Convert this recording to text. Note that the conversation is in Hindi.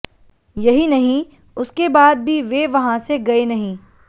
यही नहीं उसके बाद भी वे वहां से गए नहीं